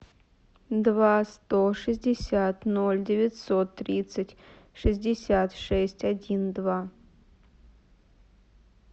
два сто шестьдесят ноль девятьсот тридцать шестьдесят шесть один два